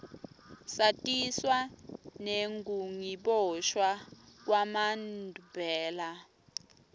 satiswa nengukiboshwa kwamanbela